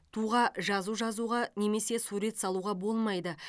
туға жазу жазуға немесе сурет салуға болмайды